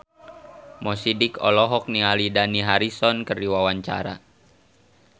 Mo Sidik olohok ningali Dani Harrison keur diwawancara